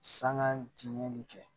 Sanŋa timinɛni kɛ